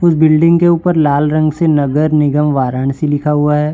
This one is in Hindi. उस बिल्डिंग के ऊपर लाल रंग से नगर निगम वाराणसी लिखा हुआ है।